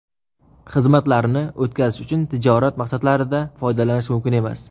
xizmatlarni) o‘tkazish uchun tijorat maqsadlarida foydalanish mumkin emas.